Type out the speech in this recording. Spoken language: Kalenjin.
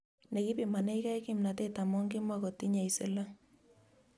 Nekipimanekei kimnatet amu kimakotinyei siling